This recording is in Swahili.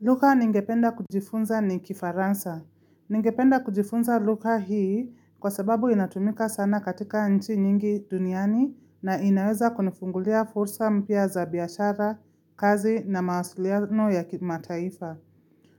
Lugha ningependa kujifunza ni kifaransa. Ningependa kujifunza lugha hii kwa sababu inatumika sana katika nchi nyingi duniani na inaweza kunifungulia fursa mpia za biashara, kazi na mawasiliano ya kimataifa.